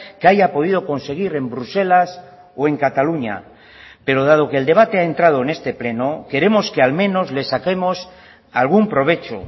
que haya podido conseguir en bruselas o en cataluña pero dado que el debate ha entrado en este pleno queremos que al menos le saquemos algún provecho